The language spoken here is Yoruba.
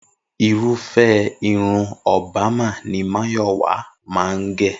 Irúfẹ́ irun Obama ni Máyọ̀wá máa ń gẹ̀